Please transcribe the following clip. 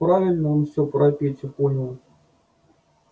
правильно он всё про петю понял